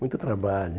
Muito trabalho.